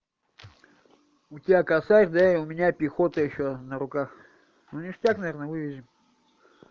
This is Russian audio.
у тебя косарь да и у меня пехота ещё на руках ну ништяк наверно вывезем